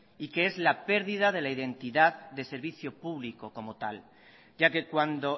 y que es la pérdida de la identidad de servicio público como tal ya que cuando